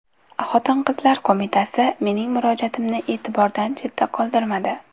Xotin-qizlar qo‘mitasi mening murojaatimni e’tibordan chetda qoldirmadi.